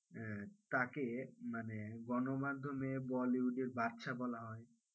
আহ তাকে মানে গণমাধ্যমে bollywood এর বাদশা বলা হয়।